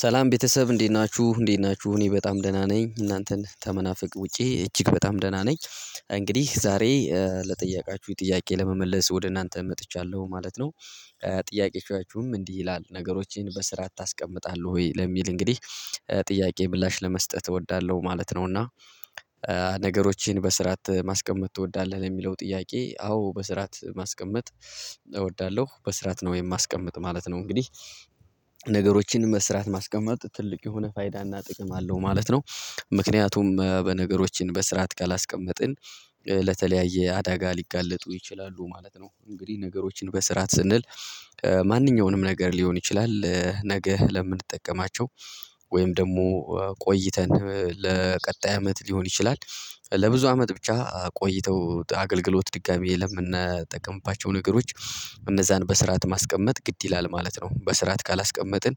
ሰላም ቤተሰብ እንዴት ናችሁ እንዴት ናችሁ እኔ በጣም ደህና ነኝ እናንተን ተመናፍቅ ውጪ እጅግ በጣም ደህና ነኝ። እንግዲህ ዛሬ ለጠየቃችሁኝ ጥያቄ ለመመለስ ወደ እናንተ መጥቻለሁ ማለት ነው። ጥያቄዎቻችሁም እንዲህ ይላል ነገሮችን በስራዓት ታስቀምጣለህ ወይ ለሚል እንግዲህ? ጥያቄ ምላሽ ለመስጠት እወዳለሁ ማለት ነው እና። ነገሮችን በስርዓት ማስቀመጥ ትወዳለህ ለሚለው ጥያቄ አዎ በስራት ማስቀመጥ እወዳለሁ በስራት ነው የማስቀምጥ ማለት ነው እንግዲህ። ነገሮችን መስራት ማስቀመጥ ትልቅ የሆነ ፋይዳና ጥቅም አለው ማለት ነው። ምክንያቱም በነገሮችን በስርዓት ካላስቀመጥን ለተለያየ አዳጋ ሊጋለጡ ይችላሉ ማለት ነው። እንግዲህ ነገሮችን በስርዓት ስንል ማንኛውንም ነገር ሊሆን ይችላል ነገ ለምንጠቀማቸው ወይም ደግሞ ቆይተን ለቀጣይ አመት ሊሆን ይችላል። ለብዙ አመት ብቻ ቆይተው አገልግሎት ድጋሚ የለምን እናጠቀምባቸው ነገሮች እነዛን በስርዓት ማስቀመጥ ግድ ይላል ማለት ነው። በስርዓት ካላስቀመጥን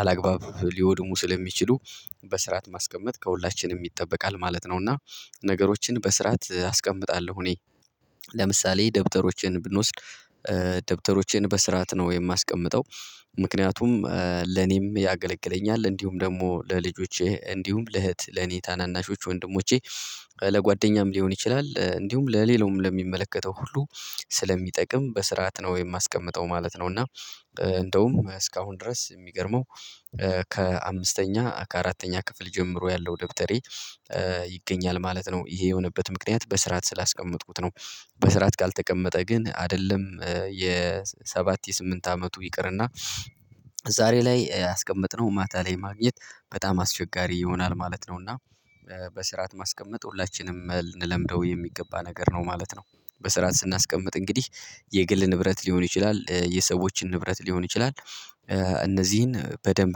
አላግባብ ሊወድሙ ስለሚችሉ በስርዓት ማስቀመጥ ከሁላችንም ይጠበቃል ማለት ነው። እና ነገሮችን በስርዓት አስቀምጣለሁ እኔ። ለምሳሌ ደብተሮችን ብንወስድ ደብተሮችን በስርዓት ነው የማስቀምጠው ምክንያቱም ለኔም ያገለግለኛል እንዲሁም ደግሞ ለልጆቼ እንዲሁም ለእህት ለኔ ታናናሾች ወንድሞቼ ለጓደኛም ሊሆን ይችላል እንዲሁም ለሌላውም ለሚመለከተው ሁሉ ስለሚጠቅም በስርዓት ነው የማስቀምጠው ማለት ነው። እና እንደውም እስካሁን ድረስ የሚገርመው ከአምስተኛ ከአራተኛ ክፍል ጀምሮ ያለው ደብተሬ ይገኛል ማለት ነው ይሄ የሆነበት ምክንያት በስርዓት ስላስቀመጥኩት ነው። በስርዓት ካልተቀመጠ ግን አይደለም የሰባት የስምንት አመቱ ይቅርና ዛሬ ላይ ያስቀመጥነው ማታ ላይ ማግኘት በጣም አስቸጋሪ ይሆናል ማለት ነው። እና በስርዓት ማስቀመጥ ሁላችንም ልል ለምደው የሚገባ ነገር ነው ማለት ነው። በስርዓት ስናስቀምጥ እንግዲህ የግል ንብረት ሊሆን ይችላል የሰዎችን ንብረት ሊሆን ይችላል። እነዚህን በደንብ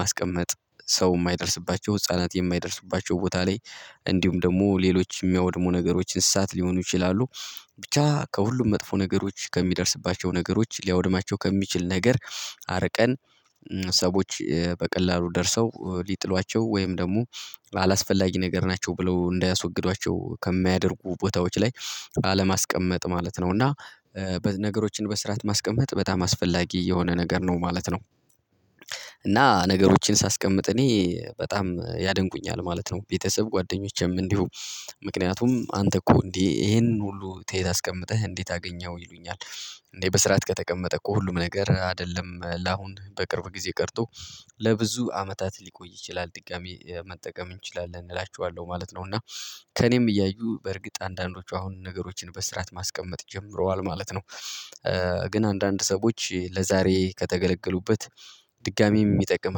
ማስቀመጥ ሰው የማይደርስባቸው ህፃናት የማይደርሱባቸው ቦታ ላይ እንዲሁም ደግሞ ሌሎች የሚያወድሙ ነገሮች እንስሳት ሊሆኑ ይችላሉ። ብቻ ከሁሉም መጥፎ ነገሮች ከሚደርስባቸው ነገሮች ሊያወድማቸው ከሚችል ነገር አርቀን ሰዎች በቀላሉ ደርሰው ሊጥሏቸው ወይም ደግሞ አላስፈላጊ ነገር ናቸው ብለው እንዳያስወግዷቸው ከሚያደርጉ ቦታዎች ላይ አለማስቀመጥ ማለት ነው። እና ነገሮችን በስራት ማስቀመጥ በጣም አስፈላጊ የሆነ ነገር ነው ማለት ነው። እና ነገሮችን ሳስቀምጥ እኔ በጣም ያደንቁኛል ማለት ነው ቤተሰብ ጓደኞቼም እንዲሁ ምክንያቱም አንተ እኮ እንዴ ይሄንን ሁሉ ተይ ታስቀምጠህ እንዴት አገኘኸው ይሉኛል? እንዴ በስራት ከተቀመጠ እኮ ሁሉም ነገር አይደለም ለአሁን በቅርብ ጊዜ ቀርቶ ለብዙ አመታት ሊቆይ ይችላል ጥቃሚ መጠቀም እንችላለን እላችኋለሁ ማለት ነው። እና ከእኔም እያዩ በእርግጥ አንዳንዶቹ አሁን ነገሮችን በስራት ማስቀመጥ ጀምረዋል ማለት ነው። ግን አንዳንድ ሰዎች ለዛሬ ከተገለገሉበት ድጋሚ የሚጠቅም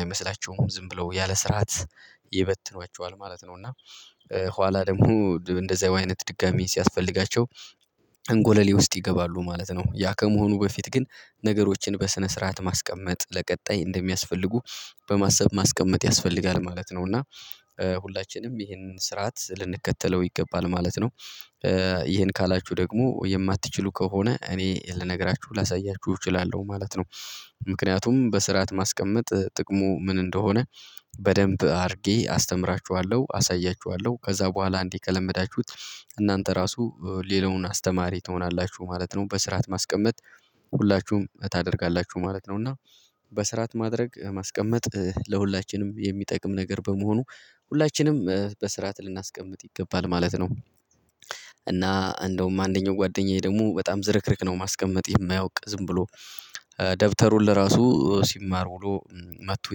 አይመስላቸውም ዝም ብለው ያለ ስርዓት ይበትኗቸዋል ማለት ነው። እና ኋላ ደግሞ እንደዛው አይነት ድጋሚ ሲያስፈልጋቸው እንጎለሌ ውስጥ ይገባሉ ማለት ነው። ያ ከመሆኑ በፊት ግን ነገሮችን በስነ ስርዓት ማስቀመጥ ለቀጣይ እንደሚያስፈልጉ በማሰብ ማስቀመጥ ያስፈልጋል ማለት ነው። እና ሁላችንም ይሄንን ስርዓት ልንከተለው ይገባል ማለት ነው። ይሄን ካላችሁ ደግሞ የማትችሉ ከሆነ እኔ ልነግራችሁ ላሳያችሁ እችላለሁ ማለት ነው። ምክንያቱም በስርዓት ማስቀመጥ ጥቅሙ ምን እንደሆነ በደንብ አድርጌ አስተምራችኋለሁ አሳያችኋለሁ ከዛ በኋላ አንዴ ከለመዳችሁት እናንተ ራሱ ሌላውን አስተማሪ ትሆናላችሁ ማለት ነው። በስርዓት ማስቀመጥ ሁላችሁም ታደርጋላችሁ ማለት ነው። እና በስርዓት ማድረግ ማስቀመጥ ለሁላችንም የሚጠቅም ነገር በመሆኑ ሁላችንም በስርዓት ልናስቀምጥ ይገባል ማለት ነው። እና እንደውም አንደኛው ጓደኛዬ ደግሞ በጣም ዝርክርክ ነው ማስቀመጥ የማያውቅ ዝም ብሎ ደብተሩን ለራሱ ሲማር ውሎ መጥቶ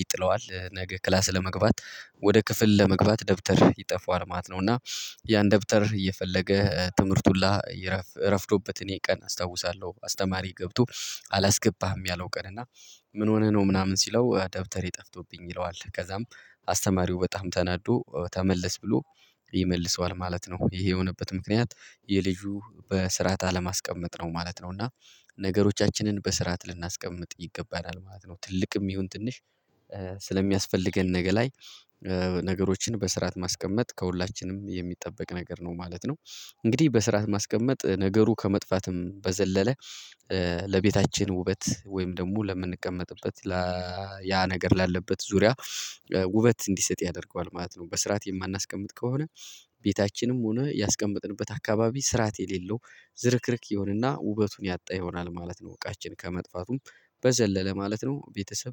ይጥለዋል ነገ ክላስ ለመግባት ወደ ክፍል ለመግባት ደብተር ይጠፈዋል ማለት ነው። እና ያን ደብተር እየፈለገ ትምህርቱን ሁላ ይረፍዶበት እኔ ቀን አስታውሳለሁ አስተማሪ ገብቶ አላስገባህም ያለው ቀን እና ምን ሆነህ ነው ምናምን ሲለው ደብተሬ ጠፍቶብኝ ይለዋል ከዛም አስተማሪው በጣም ተናዶ ተመለስ ብሎ ይመልሰዋል ማለት ነው። ይሄ የሆነበት ምክንያት የልጁ በስርዓት አለማስቀመጥ ነው ማለት ነው። እና ነገሮቻችንን በስርዓት ልናስቀምጥ ይገባናል ማለት ነው። ትልቅም ይሁን ትንሽ ስለሚያስፈልገን ነገ ላይ ነገሮችን በስርዓት ማስቀመጥ ከሁላችንም የሚጠበቅ ነገር ነው ማለት ነው። እንግዲህ በስርዓት ማስቀመጥ ነገሩ ከመጥፋትም በዘለለ ለቤታችን ውበት ወይም ደግሞ ለምንቀመጥበት ያ ነገር ላለበት ዙሪያ ውበት እንዲሰጥ ያደርገዋል ማለት ነው። በስርዓት የማናስቀምጥ ከሆነ ቤታችንም ሆነ ያስቀመጥንበት አካባቢ ስርዓት የሌለው ዝርክርክ ይሆንና ውበቱን ያጣ ይሆናል ማለት ነው። እቃችን ከመጥፋቱም በዘለለ ማለት ነው ቤተሰብ